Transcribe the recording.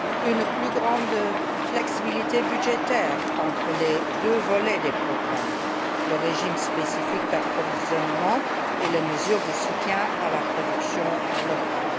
une plus grande flexibilité budgétaire entre les deux volets des programmes le régime spécifique d'approvisionnement et les mesures de soutien à la production locale.